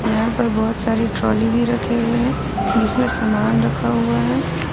यहां पर बहुत सारी ट्रॉली भी रखे हुए हैं जिसमें सामान रखा हुआ है।